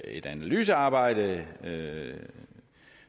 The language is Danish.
et analysearbejde